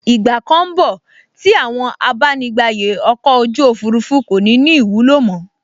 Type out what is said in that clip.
Ìgbà kan n bọ̀ tí àwọn abánigbàyè ọkọ̀ ojú òfurufú kò ní ní ìwúlò mọ́